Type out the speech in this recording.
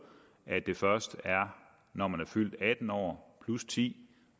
at det først er når man er fyldt atten år plus ti